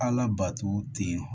Ala bato ten